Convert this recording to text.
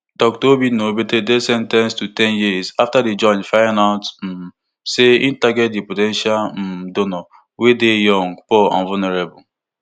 dr obinna obeta dey sen ten ced to ten years afta di judge find out um say e target di po ten tial um donor wey dey young poor and vulnerable